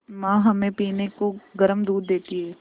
माँ हमें पीने को गर्म दूध देती हैं